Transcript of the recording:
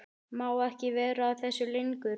Má ekki vera að þessu lengur.